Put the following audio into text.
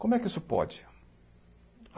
Como é que isso pode?